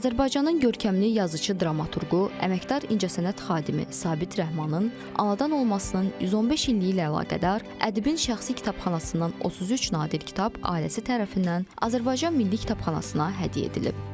Azərbaycanın görkəmli yazıçı-dramaturqu, əməkdar incəsənət xadimi Sabit Rəhmanın anadan olmasının 115 illiyi ilə əlaqədar ədibin şəxsi kitabxanasından 33 nadir kitab ailəsi tərəfindən Azərbaycan Milli Kitabxanasına hədiyyə edilib.